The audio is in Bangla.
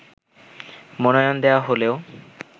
মনোনয়ন দেয়া হলেও